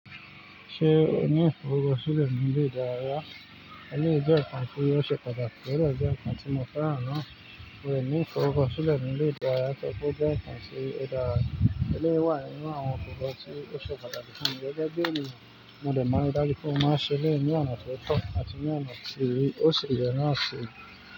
Ṣé o ní ìfọ̀rọ̀kọ́ṣilẹ̀ ní ilé ìdárayá? Eléyìí jẹ́ ǹkan tí ó ṣe pàtàkì, ọ̀dẹ jẹ́ ǹkan tí mo fẹ́ràn ná. Mò ní ìfọ̀rọ̀kọ́ṣilẹ̀ ní ilé ìdárayá tọri pe oo jẹ́ ǹkan tí oo dàra eléyi wà nínú àwọn ǹkan tí ó ṣe pàtàkì fún mi. Gẹ́gẹ́ bí ènìyàn, mo dè ma ri dájú pé mó máa ṣẹ elẹ̀yi ní ọ̀nà tó tọ́ àti ní ọ̀nà tí ó ṣi yẹ̀ náà ṣi.